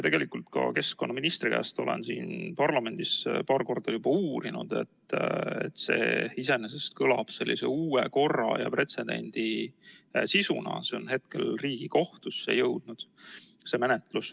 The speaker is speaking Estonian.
Olen keskkonnaministri käest siin parlamendis paar korda juba uurinud, et see iseenesest kõlab sellise uue korra ja pretsedendi sisuna, menetlus on hetkel Riigikohtusse jõudnud.